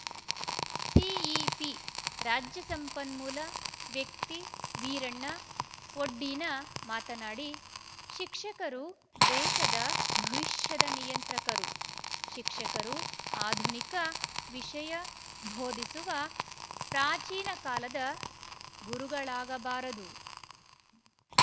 CEP ರಾಜ್ಯ ಸಂಪನ್ಮೂಲ ವ್ಯಕ್ತಿ ವೀರಣ್ಣ ಒಡ್ಡೀನ ಮಾತನಾಡಿ ಶಿಕ್ಷಕರು ದೇಶದ ಭವಿಷ್ಯದ ನಿಯಂತ್ರಕರು ಶಿಕ್ಷಕರು ಆಧುನಿಕ ವಿಷಯ ಭೋಧಿಸುವ ಪ್ರಾಚೀನ ಕಾಲದ ಗುರುಗಳಾಗಬಾರದು